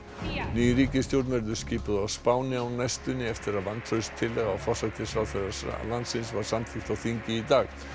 ný ríkisstjórn verður skipuð á Spáni á næstunni eftir að vantrauststillaga á forsætisráðherra var samþykkt á þingi í dag